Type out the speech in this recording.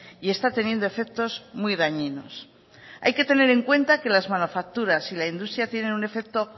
y está teniendo efectos muy dañinos hay que tener en cuenta que las manufacturas y la industria tienen un efecto